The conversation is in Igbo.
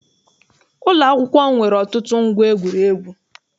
Ụlọakwụkwọ m nwere ọtụtụ ngwa egwuregwu.